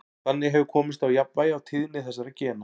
Þannig hefur komist á jafnvægi á tíðni þessara gena.